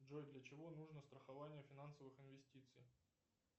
джой для чего нужно страхование финансовых инвестиций